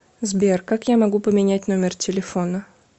сбер как я могу поменять номер телефона